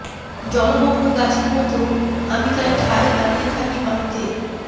জলমগ্ন গাছের মতো আমি তাই ঠায় দাঁড়িয়ে থাকি পানিতে